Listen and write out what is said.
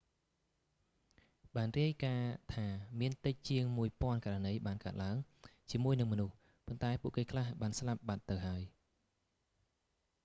បានរាយការណ៍ថាមានតិចជាងមួយពាន់ករណីបានកើតឡើងជាមួយនឹងមនុស្ស ប៉ុន្តែពួកគេខ្លះបានស្លាប់បាត់ទៅហើយ